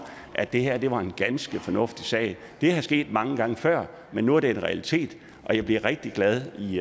at det her var en ganske fornuftig sag det er sket mange gange før men nu er det en realitet og jeg bliver rigtig glad i